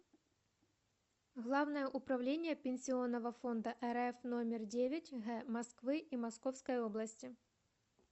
главное управление пенсионного фонда рф номер девять г москвы и московской области